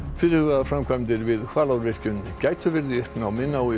fyrirhugaðar framkvæmdir við Hvalárvirkjun gætu verið í uppnámi nái